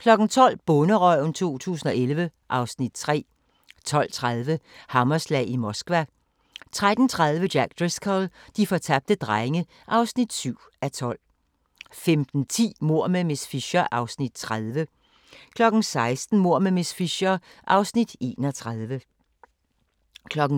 12:00: Bonderøven 2011 (Afs. 3) 12:30: Hammerslag i Moskva 13:30: Jack Driscoll - de fortabte drenge (7:12) 15:10: Mord med miss Fisher (Afs. 30) 16:00: Mord med miss Fisher (Afs. 31)